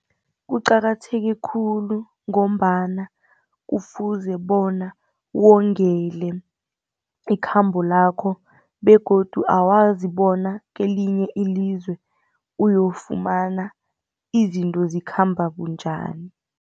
Kuqakatheke khulu ngombana kufuze bona wongele ikhambo lakho begodu awazi bona kelinye ilizwe uyofumana izinto zikhamba bunjani.